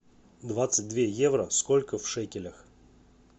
двадцать две евро сколько в шекелях